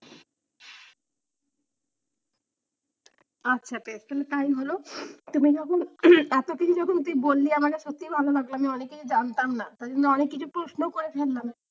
আচ্ছা বেশ তাহলে তাই হলো, তুমি যখন এতদিন যখন তুই বললি আমারে সত্যিই ভালো লাগলো আমি অনেকেরই জানতাম না, তাই জন্য অনেক কিছু প্রশ্নও করে ফেললাম।